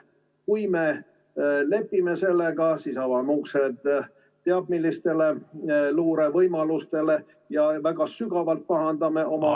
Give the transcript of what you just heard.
Kui me lepime sellega, siis avame uksed teab millistele luurevõimalustele ja väga sügavalt pahandame oma ...